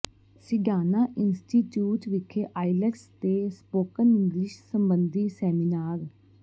Sidana institute ਵਿਖੇ IELTS ਤੇ spoken English ਸਬੰਧੀ ਸੈਮੀਨਾਰ